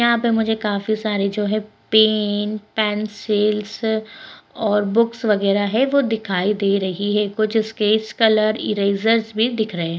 यहां पे मुझे काफी सारी जो है पेन पेंसिल्स और बुक्स वगैरा है वो दिखाई दे रही है कुछ स्केच कलर इरेजर्स भी दिख रहे हैं।